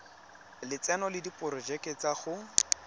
lotseno le diporojeke tsa go